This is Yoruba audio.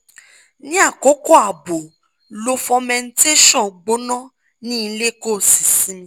ni akoko abo lo fomentation gbona ni ile ko si simi